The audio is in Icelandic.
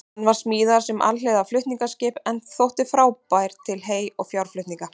Hann var smíðaður sem alhliða flutningaskip en þótti frábær til hey- og fjárflutninga.